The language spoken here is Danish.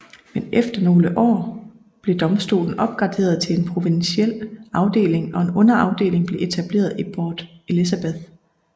Men efter nogle år blev domstolen opgraderet til en provinsiel afdeling og en underafdeling blev etableret i Port Elizabeth